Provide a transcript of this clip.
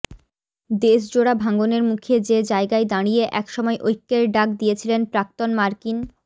দেশজোড়া ভাঙনের মুখে যে জায়গায় দাঁড়িয়ে এক সময় ঐক্যের ডাক দিয়েছিলেন প্রাক্তন মার্কিন